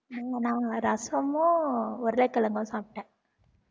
உம் நா ரசமும், உருளைக்கிழங்கும் சாப்பிட்டேன்